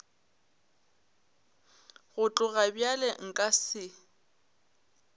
go tloga bjalo nka se